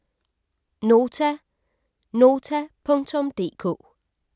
Nota: nota.dk